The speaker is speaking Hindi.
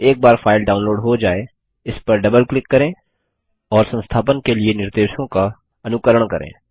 एक बार फाइल डाउनलोड हो जाय इस पर डबल क्लिक करें और संस्थापन के लिए निर्देशों का अनुकरण करें